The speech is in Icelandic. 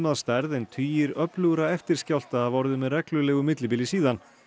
að stærð en tugir öflugra eftirskjálfta hafa orðið með reglulegu millibili síðan